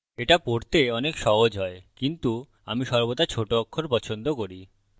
এটা পড়তে অনেক সহজ হয় কিন্তু আমি সর্বদা ছোট অক্ষর পছন্দ করি